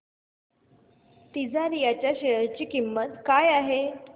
तिजारिया च्या शेअर ची किंमत काय आहे